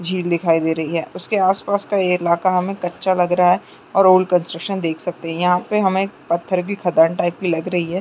झील दिखाई दे रही है उसके आस-पास का ये इलाका हमें कच्चा लग रहा है और रोड कंस्ट्रक्शन देख सकते है यहाँ पे हमें पत्थर भी खदान टाइप की लग रही है।